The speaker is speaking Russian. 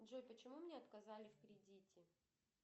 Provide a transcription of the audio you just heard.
джой почему мне отказали в кредите